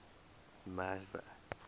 merwe